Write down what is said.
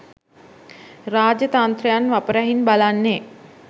රාජ්‍යතන්ත්‍රයන් වපරැහින් බලන්නේ